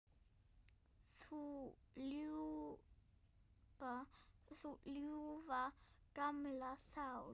Þú ljúfa, gamla sál.